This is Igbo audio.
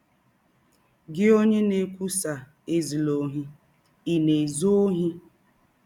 Gị ọnye na - ekwụsa ‘ Ezụla ọhi, ’ ị̀ na - ezụ ọhi? ”